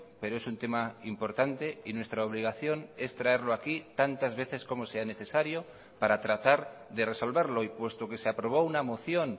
pero es un tema importante y nuestra obligación es traerlo aquí tantas veces como sea necesario para tratar de resolverlo y puesto que se aprobó una moción